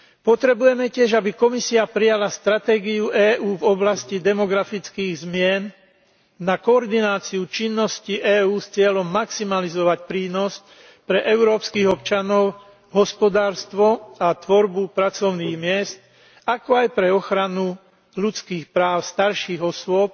Potrebujeme tiež, aby Komisia prijala stratégiu EÚ v oblasti demografických zmien na koordináciu činností EÚ s cieľom maximalizovať prínos pre európskych občanov, hospodárstvo a tvorbu pracovných miest, ako aj pre ochranu ľudských práv starších osôb